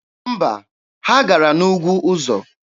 Mba, ha gara n'ugwu ọzọ.